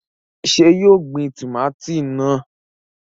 Ṣé yóò gbin tòmátì náà?